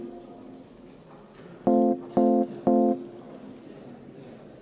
Juhtivkomisjoni otsus on jätta arvestamata.